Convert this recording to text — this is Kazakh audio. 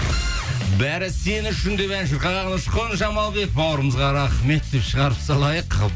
бәрі сен үшін деп ән шырқаған ұшқын жамалбек бауырымызға рахмет деп шығарып салайық